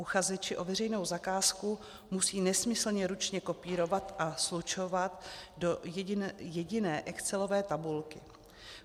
Uchazeči o veřejnou zakázku musí nesmyslně ručně kopírovat a slučovat do jediné excelové tabulky.